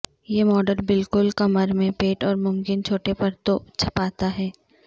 یہ ماڈل بالکل کمر میں پیٹ اور ممکن چھوٹے پرتوں چھپاتا ہے